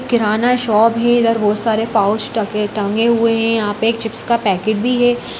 किराना shop है इधर बहुत सारे पाउच टके टंगे हुए हैं यहाँ पे एक चिप्स का पैकेट भी है।